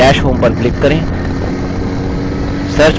dash home पर click करें